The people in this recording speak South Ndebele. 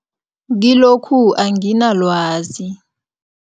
Kilokhu anginalwazi.